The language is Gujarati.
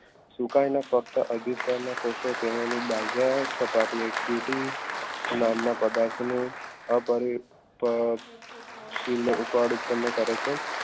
સુકાઈ ને ફક્ત નામના પદાર્થનું અ પરિ પર